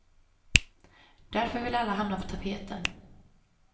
Därför vill alla hamna på tapeten.